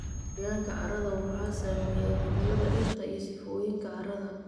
Qoyaanka carrada waxaa saameeya cimilada, dhirta, iyo sifooyinka carrada.